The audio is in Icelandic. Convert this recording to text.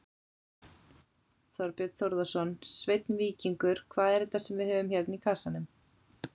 Þorbjörn Þórðarson: Sveinn Víkingur, hvað er þetta sem við höfum hérna í kassanum?